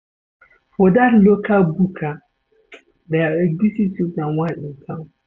For dat local buka, there egusi soup na one in town.